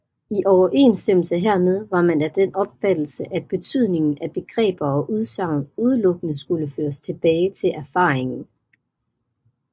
I overensstemmelse hermed var man af den opfattelse at betydningen af begreber og udsagn udelukkende skulle føres tilbage til erfaringen